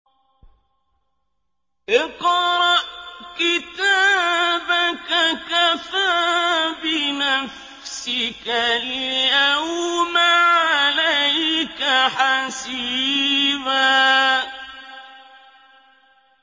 اقْرَأْ كِتَابَكَ كَفَىٰ بِنَفْسِكَ الْيَوْمَ عَلَيْكَ حَسِيبًا